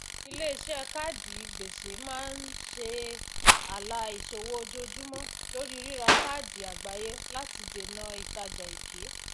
iléiṣẹ káàdì gbèsè máa ń ṣe ààlà ìṣòwò ojoojúmọ lóri rírà káàkiri àgbáyé láti dènà ìtajà èké